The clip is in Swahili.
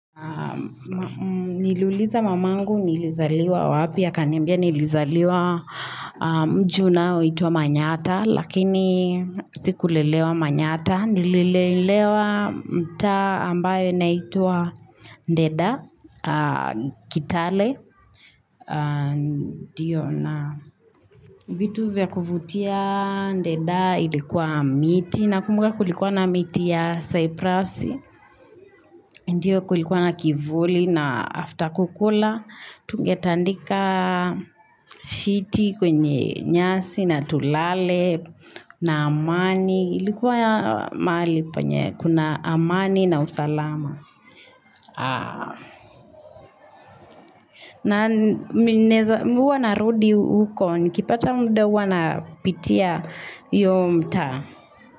Niliuliza mamangu nilizaliwa wapi akanimbia nilizaliwa mji unaoitwa manyatta Lakini siku lelewa manyatta Nililelewa mtaa ambayo naitwa ndeda kitale vitu vya kuvutia ndeda ilikuwa miti Nakumbuka kulikuwa na miti ya saiprasi Ndiyo kulikuwa na kivuli na after kukula, tungeta ndika shiti kwenye nyasi na tulale na amani, ilikuwa ya mahali panye kuna amani na usalama. Na huwana rudi huko, nikipata mda huwa na pitia hiyo mtaa.